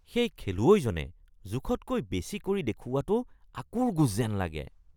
সেই খেলুৱৈজনে জোখতকৈ বেছি কৰি দেখুওৱাটো আঁকোৰগোঁজ যেন লাগে